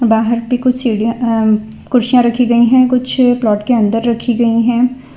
बाहर भी कुछ सीढ़ियां आ कुर्सियां रखी गईं हैं कुछ प्लॉट के अंदर रखीं गईं है।